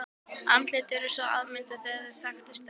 Andlitin urðu svo afmynduð að þeir þekktust ekki.